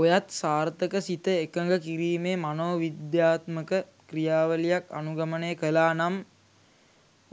ඔයත් සාර්ථක සිත එකඟ කිරීමේ මනෝවිද්‍යාත්මක ක්‍රියාවලියක් අනුගමනය කලානම්